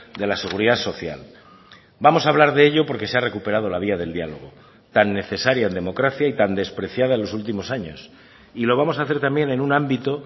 de la seguridad social vamos a hablar de ello porque se ha recuperado la vía del dialogo tan necesaria en democracia y tan despreciada en los últimos años y lo vamos a hacer también en un ámbito